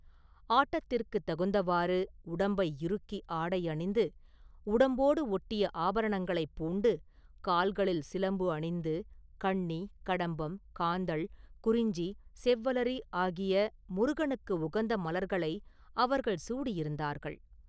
ஆட்டத்திற்குத் தகுந்தவாறு உடம்பை இறுக்கி ஆடை அணிந்து, உடம்போடு ஒட்டிய ஆபரணங்களைப் பூண்டு, கால்களில் சிலம்பு அணிந்து, கண்ணி, கடம்பம், காந்தள், குறிஞ்சி, செவ்வலரி ஆகிய முருகனுக்கு உகந்த மலர்களை அவர்கள் சூடியிருந்தார்கள்.